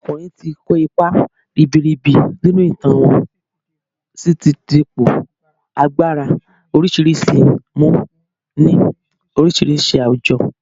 Àwọn ọkùnrin ti kó ipa ribiribi nínú ìtàn wọ́n si ti di ipò agbára oríṣiríṣi mu ni oríṣiríṣi àwùjọ